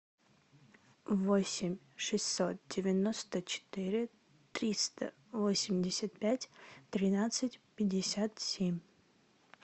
восемь шестьсот девяносто четыре триста восемьдесят пять тринадцать пятьдесят семь